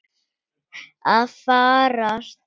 Að farast?